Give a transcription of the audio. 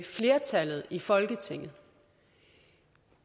flertallet i folketinget